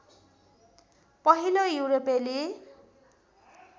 पहिलो युरोपेली